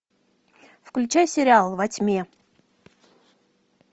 включай сериал во тьме